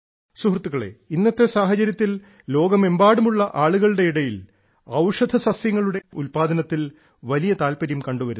സുഹൃത്തുക്കളെ ഇന്നത്തെ സാഹചര്യത്തിൽ ലോകമെമ്പാടുമുള്ള ആളുകളുടെ ഇടയിൽ ഔഷധസസ്യങ്ങളുടെയും ഹെർബൽ സസ്യങ്ങളുടെയും ഉൽപാദനത്തിൽ വലിയ താല്പര്യം കണ്ടുവരുന്നു